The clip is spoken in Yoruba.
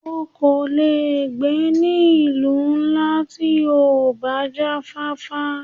O kò lè gbé ní ìlú ńlá tí ò bá jáfáfá.